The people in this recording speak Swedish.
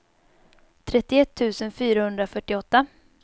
trettioett tusen fyrahundrafyrtioåtta